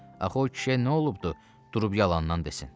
Axı o kişiyə nə olubdur durub yalandan desin?